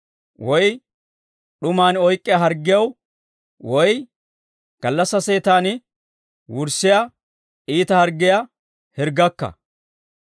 woy d'uman oyk'k'iyaa harggiyaw, woy gallassaa seetan wurssiyaa iita harggiyaa hirggakka.